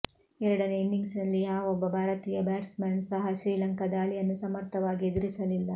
ಎರಡನೇ ಇನಿಂಗ್ಸ್ ನಲ್ಲಿ ಯಾವೊಬ್ಬ ಭಾರತೀಯ ಬ್ಯಾಟ್ಸ್ ಮನ್ ಸಹ ಶ್ರೀಲಂಕಾ ದಾಳಿಯನ್ನು ಸಮರ್ಥವಾಗಿ ಎದುರಿಸಲಿಲ್ಲ